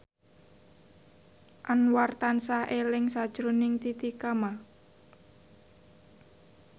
Anwar tansah eling sakjroning Titi Kamal